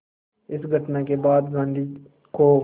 इस घटना के बाद गांधी को